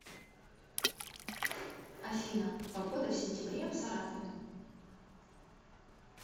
афина погода в сентябре в саратове